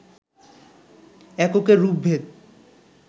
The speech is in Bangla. এককের রূপভেদ,